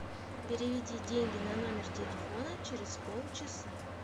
переведи деньги на номер телефона через полчаса